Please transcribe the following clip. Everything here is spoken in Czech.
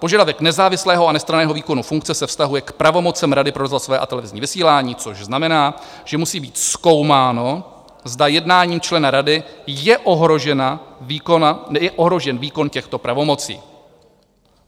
Požadavek nezávislého a nestranného výkonu funkce se vztahuje k pravomocem Rady pro rozhlasové a televizní vysílání, což znamená, že musí být zkoumáno, zda jednáním člena rady je ohrožen výkon těchto pravomocí.